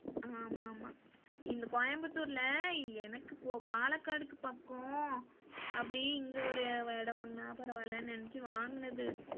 ஆமா ஆமா இந்த கோயம்புத்தூர்ல எனக்கு பாலகாடுக்கு பக்கம் அப்படியே இங்க ஒரு இடம் வாங்குனா பரவால்லனு நினச்சு வாங்குனது.